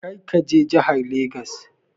Kar ka je jahar Legas!